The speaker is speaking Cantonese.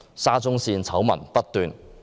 沙中線醜聞不斷。